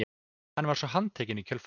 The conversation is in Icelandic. Hann var svo handtekinn í kjölfarið